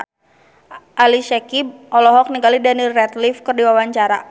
Ali Syakieb olohok ningali Daniel Radcliffe keur diwawancara